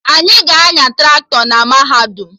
Anyị ga-anya Traktọ na mahadum